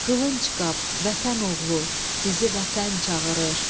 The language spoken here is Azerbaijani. Qılınc Qap, Vətən Oğlu, bizi Vətən çağırır.